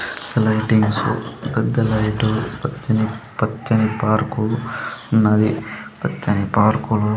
lightings పెద్ద light పచ్చని పచ్చని పార్కు ఉన్నది పచ్చని పార్కులు --